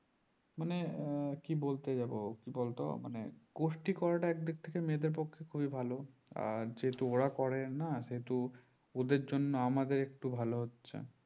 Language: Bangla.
মানে কি বলতে যাবো বলতো মানে গোষ্ঠী করাটা এক দিক থেকে মেয়েদের পক্ষে খুবই আর যে হেতু ওরা করে না সেহেতু ওদের জন্য আমাদের একটু ভালো হচ্ছে